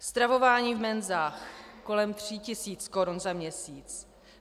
Stravování v menzách kolem 3 tis. korun za měsíc.